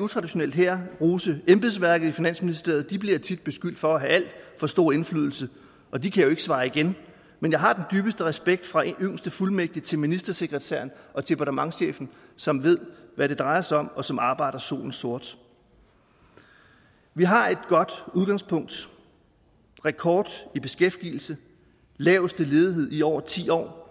utraditionelt her rose embedsværket i finansministeriet de bliver tit beskyldt for have alt for stor indflydelse og de kan jo ikke svare igen men jeg har den dybeste respekt fra den yngste fuldmægtig til ministersekretæren og departementschefen som ved hvad det drejer sig om og som arbejder solen sort vi har et godt udgangspunkt rekord i beskæftigelse laveste ledighed i over ti år